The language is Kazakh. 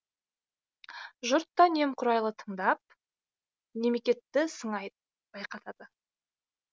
жұрт та немқұрайлы тыңдап немекетті сыңай байқатады